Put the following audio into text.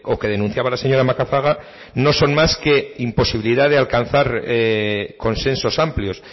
que denunciaba la señora macazaga no son más que imposibilidad de alcanzar consensos amplios